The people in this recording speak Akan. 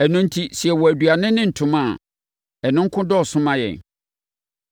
Ɛno enti, sɛ yɛwɔ aduane ne ntoma a, ɛno nko dɔɔso ma yɛn.